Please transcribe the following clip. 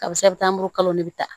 Karisa bɛ taa buru de bɛ ta